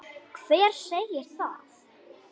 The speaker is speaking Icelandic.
Hver segir það?